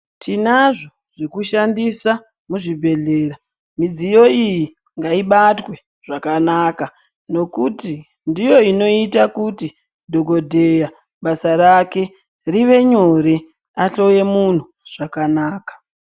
Tinazvo zvekushandisa muzvibhedhlera, midziyo iyi ngaibatwe zvakanaka nokuti ndiyo inoita kuti dhokodheya basa rake rive nyore ahloye munhu zvakanaka